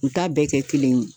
U t'a bɛɛ kɛ kelen ye